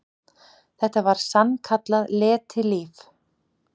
Þetta var sann- kallað letilíf.